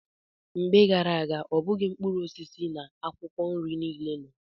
Mgbe gara aga, ọ bụghị mkpụrụ osisi na akwụkwọ nri niile nọ.